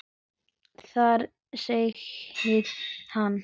Þar sagði hann